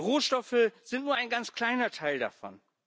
Rohstoffe sind nur ein ganz kleiner Teil davon.